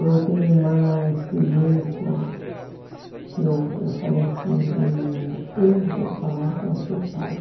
Eu tenho uma experiência que eu, eu falei assim para o menino, eu vou falar com o seu pai.